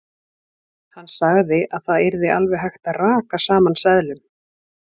Hann sagði að það yrði alveg hægt að raka saman seðlum.